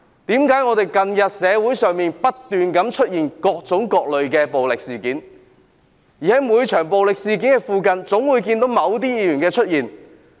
為何近日社會上不斷出現各種各類的暴力事件，而每場暴力事件總會看見某些議員出現？